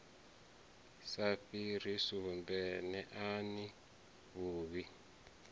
sa fhiri sumbe neani vhuvhi